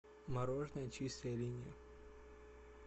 мороженое чистая линия